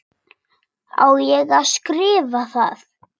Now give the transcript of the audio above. Á ég að skrifa það?